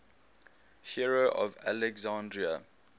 hero of alexandria